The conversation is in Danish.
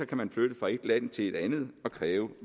kan flytte fra et land til et andet og kræve